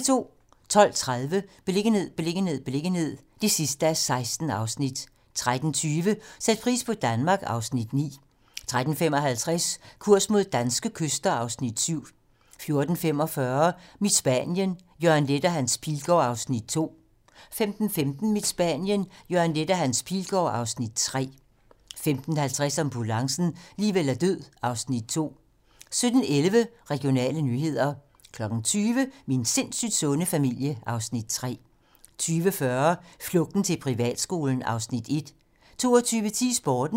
12:30: Beliggenhed, beliggenhed, beliggenhed (16:16) 13:20: Sæt pris på Danmark (Afs. 9) 13:55: Kurs mod danske kyster (Afs. 7) 14:45: Mit Spanien - Jørgen Leth og Hans Pilgaard (Afs. 2) 15:15: Mit Spanien - Jørgen Leth og Hans Pilgaard (Afs. 3) 15:50: Ambulancen - liv eller død (Afs. 2) 17:11: Regionale nyheder 20:00: Min sindssygt sunde familie (Afs. 3) 20:40: Flugten til privatskolen (Afs. 1) 22:10: Sporten